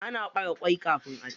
Ana ɓare kwai kafin aci.